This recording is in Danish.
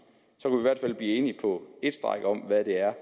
så i hvert fald blive enige på et stræk om hvad det er